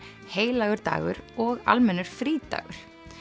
heilagur dagur og almennur frídagur